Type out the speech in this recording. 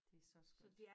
Det så skønt